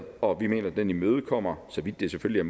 og vi mener at den imødekommer så vidt det selvfølgelig